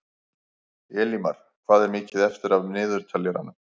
Elimar, hvað er mikið eftir af niðurteljaranum?